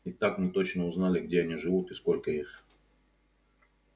и так мы точно узнали где они живут и сколько их